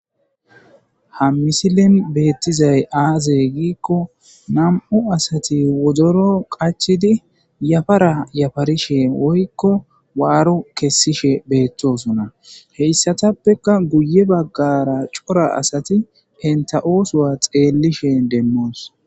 ha misilen beettizay aaze giikko nam7u asati wodoro qachidi yafara yafarishe woykko waaro kessishe beettosona heyssatappeka guye baggara cora asati enta oosowa xeellishe demmoos